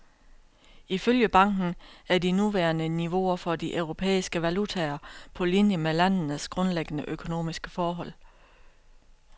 Ifølge banken er de nuværende niveauer for de europæiske valutaer på linie med landenes grundlæggende økonomiske forhold.